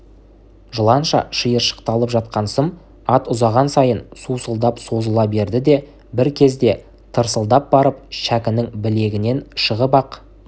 жыланша шиыршықталып жатқан сым ат ұзаған сайын сусылдап созыла берді де бір кезде тырсылдап барып шәкінің білегінен шығып-ақ